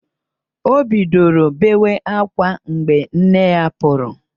O bidoro bewa ákwá mgbe nne ya pụrụ